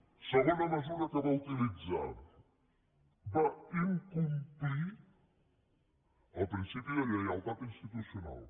segona mesura que va utilitzar va incomplir el principi de lleialtat institucional